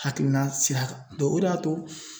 Hakilina sira kan dɔn o de y'a to